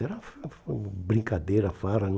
Era fa hum brincadeira, farra.